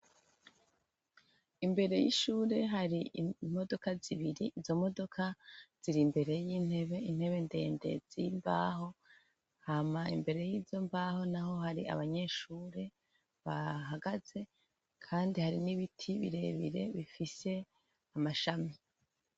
Imbere y'ishure hari imodoka zibiri izo modoka ziri mbere y'intebe intebe ndende z'imbaho hama imbere y'izo mbaho naho hari abanyeshure bahagaze kandi hari n'ibiti birebire bifise amashami.